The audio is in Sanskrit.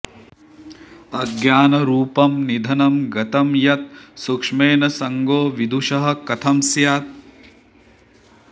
अज्ञानरूपं निधनं गतं यत् सूक्ष्मेण सङ्गो विदुषः कथं स्यात्